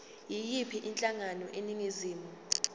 yiyiphi inhlangano eningizimu